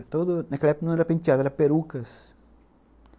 Naquela época não eram penteados, eram perucas.